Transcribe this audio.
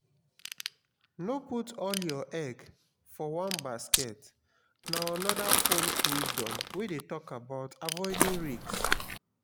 no put all your egg for one basket na another folk wisdom wey de talk about avoiding risk